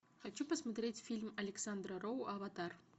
хочу посмотреть фильм александра роу аватар